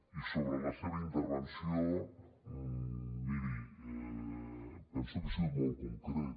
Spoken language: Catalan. i sobre la seva intervenció miri penso que he sigut molt concret